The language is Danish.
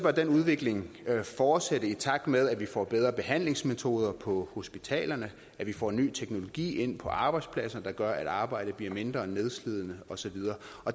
den udvikling fortsætte i takt med at vi får bedre behandlingsmetoder på hospitalerne at vi får en ny teknologi ind på arbejdspladserne der gør at arbejdet bliver mindre nedslidende og så videre